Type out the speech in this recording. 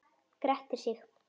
Grettir sig.